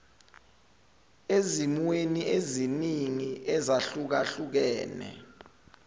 ezimweni eziningi ezahlukahlukene